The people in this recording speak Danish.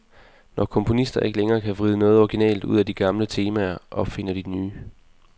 Når komponister ikke længere kan vride noget originalt ud af de gamle temaer, opfinder de nye.